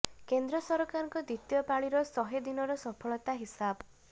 କେନ୍ଦ୍ର ସରକାରଙ୍କ ଦ୍ବିତୀୟ ପାଳିର ଶହେ ଦିନର ସଫଳତା ହିସାବ